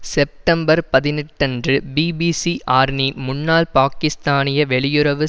September பதினெட்டு அன்று B B C ஆர்னி முன்னாள் பாக்கிஸ்தானிய வெளியுறவு